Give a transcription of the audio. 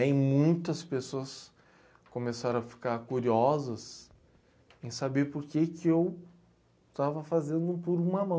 E aí muitas pessoas começaram a ficar curiosas em saber porque que eu estava fazendo um por uma mão.